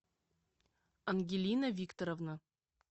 ангелина викторовна